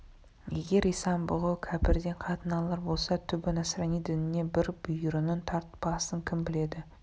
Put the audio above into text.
егер исан-бұғы кәпірден қатын алар болса түбі насрани дініне бір бүйірінің тартпасын кім біледі